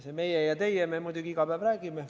See "meie" ja "teie" – nii me muidugi iga päev räägime.